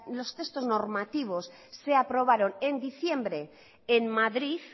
los textos normativos se aprobaron en diciembre en madrid